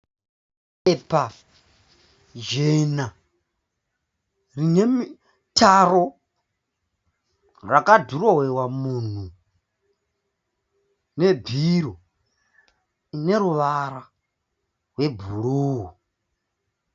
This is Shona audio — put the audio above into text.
Bepa jena rinemitaro rakadhirowewa munhu nebhiro neruvara rwebhruu.